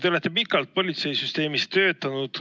Te olete pikalt politseisüsteemis töötanud.